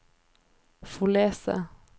Follese